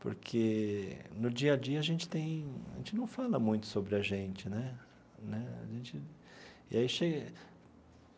Porque, no dia a dia, a gente tem a gente não fala muito sobre a gente né né a gente e aí chega.